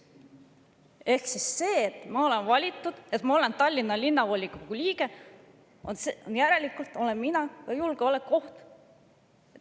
Ehk ma olen valitud, ma olen Tallinna Linnavolikogu liige, järelikult olen ka mina julgeolekuoht.